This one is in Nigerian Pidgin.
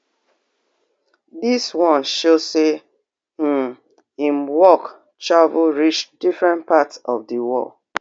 dis one show say um im work travel reach different parts of di world